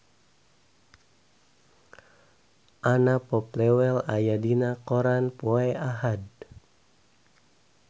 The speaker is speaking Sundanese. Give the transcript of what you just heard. Anna Popplewell aya dina koran poe Ahad